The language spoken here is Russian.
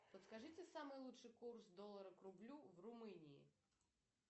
подскажите самый лучший курс доллара к рублю в румынии